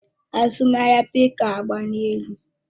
Azụmahịa bitkọin ọgbaliela elu?